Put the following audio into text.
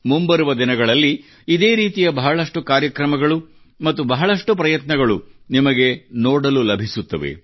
ಮುಂಬರುವ ದಿನಗಳಲ್ಲಿ ಇದೇ ರೀತಿಯ ಬಹಳಷ್ಟು ಕಾರ್ಯಕ್ರಮಗಳು ಮತ್ತು ಬಹಳಷ್ಟು ಪ್ರಯತ್ನಗಳು ನಿಮಗೆ ನೋಡಲು ಲಭಿಸುತ್ತವೆ